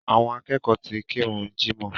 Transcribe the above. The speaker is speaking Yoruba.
Àwọn akẹ́kọ̀ọ́ ti kírun jímọ̀